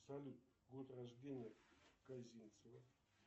салют год рождения козинцева